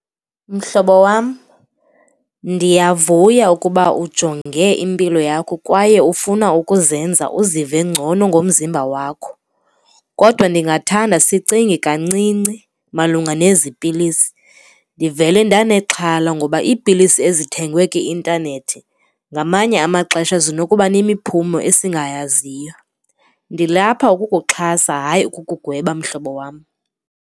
Mhlobo wam, ndiyavuya ukuba ujonge impilo yakho kwaye ufuna ukuzenza uzive ngcono ngomzimba wakho kodwa ndingathanda sicinge kancinci malunga nezipilisi. Ndivele ndanexhala ngoba iipilisi ezithengwe kwi-intanethi ngamanye amaxesha zinokuba nemiphumo esingayaziyo. Ndilapha ukukuxhasa hayi ukukugweba mhlobo wam.